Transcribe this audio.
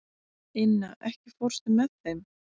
Inna, ekki fórstu með þeim?